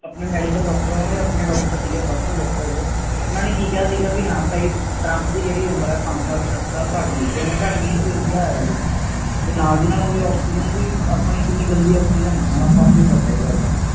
ਆਪਣੇ Medical doctor ਆਪਣੇ ਸੀਗੇ Personal doctor ਉਨ੍ਹਾਂ ਨੇ ਕੀ ਕਿਹਾ ਟਰੰਪ ਦੀ ਜਿਹੇੜੀ ਉਮਰ ਹੈ ਪੰਜ ਸਾਲ ਸੱਤ ਸਾਲ ਘੱਟ ਗਈ ਹੈ ਉਹ India ਆਇਆ ਸੀ ਜੇ ਨਾਲ Oxygen ਕੀਨੀ ਗੰਦੀ ਹੈ ਆਪਾ ਨੂੰ ਪਤਾ ਇਹ ਗਲਦਾ